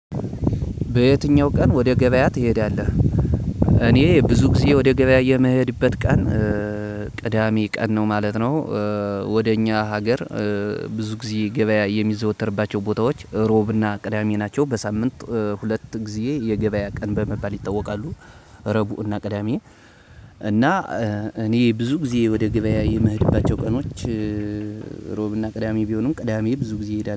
በየትኛው ቀን ወደ ገበያ ትሄዳለህ? እኔ ብዙ ጊዜ ወደ ገበያ የምሄድበት ቀን ቅዳሜ ቀን ነው ማለት ነው ወደ እኛ ሀገር ብዙ ጊዜ ገበያ የሚዘዎተርባቸው ቦታወች እሮብ እና ቅዳሜ ናቸው። በሳምንት ሁለት ጊዜ የ ገበያ ቀን በመባል ይታወቃሉ። ረቡእና ቅዳሜ እና እኔ ብዙ ጊዜ ወደ ገበያ የምህድባቸው ቀኖች ሮብና ቅዳሜ ቢሆንም ቅዳሜ ብዙ ጊዜ ይሄዳል